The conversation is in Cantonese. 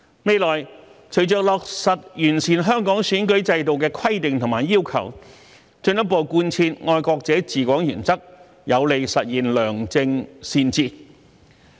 未來，隨着落實完善香港選舉制度的規定和要求，進一步貫徹"愛國者治港"原則，有利實現良政善治。